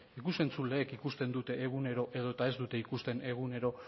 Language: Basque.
ikus entzuleek ikusten dute egunero edo eta ez dute ikusten egunero